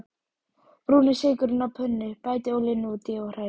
Brúnið sykurinn á pönnu, bætið olíunni út í og hrærið.